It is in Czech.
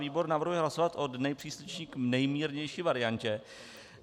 Výbor navrhuje hlasovat od nejpřísnější k nejmírnější variantě.